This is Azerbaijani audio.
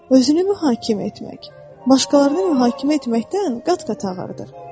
Özünü mühakimə etmək, başqalarını mühakimə etməkdən qat-qat ağırdır.